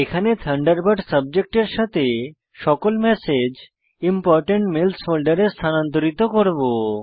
এখানে আমরা থান্ডারবার্ড সাবজেক্টের সাথে সকল ম্যাসেজ ইম্পোর্টেন্ট মেইলস ফোল্ডারে স্থানান্তরিত করব